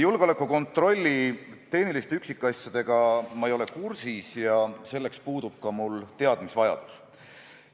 Julgeolekukontrolli tehniliste üksikasjadega ma ei ole kursis ja selleks puudub mul ka teadmisvajadus.